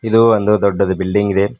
ಇದು ಒಂದು ದೊಡ್ಡದು ಬಿಲ್ಡಿಂಗ್ ಇದೆ.